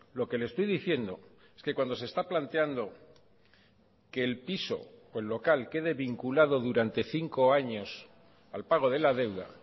lo que le estoy diciendo es que cuando se está planteando que el piso o el local quede vinculado durante cinco años al pago de la deuda